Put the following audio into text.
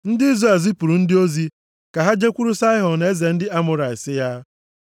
Ndị Izrel zipụrụ ndị ozi ka ha jekwuru Saịhọn, eze ndị Amọrait, sị ya,